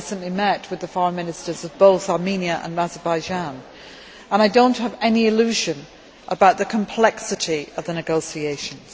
I recently met with the Foreign Ministers of both Armenia and Azerbaijan and I do not have any illusion about the complexity of the negotiations.